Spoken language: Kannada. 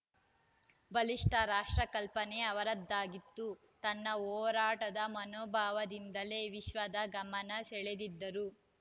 ಬಲಿಷ್ಠ ರಾಷ್ಟ್ರ ಕಲ್ಪನೆ ಅವರದ್ದಾಗಿತ್ತು ತನ್ನ ಹೋರಾಟದ ಮನೋಭಾವದಿಂದಲೇ ವಿಶ್ವದ ಗಮನ ಸೆಳೆದಿದ್ದರು